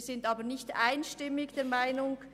Wir sind aber nicht einstimmig dieser Meinung.